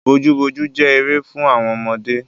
Bojúbojú jẹ́ eré fún àwọn ọmọdé.